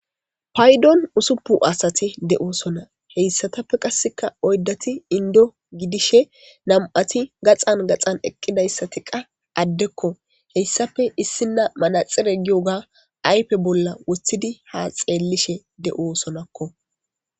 Paydon usuppu asati de'osona heyssatappe qasseka oydati indo gidishe nam'ati gaxan gaxan eqqidayssati qa addekko heyssafe issina manaxire giyoga aype bolla woththidi ha xeellishe de'osonakko